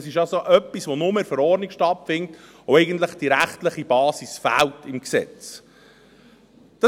Das ist also etwas, das nur in der Verordnung stattfindet und dem eigentlich die rechtliche Basis im Gesetz fehlt.